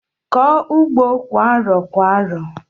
Kọọ ugbo kwa arọ kwa arọ!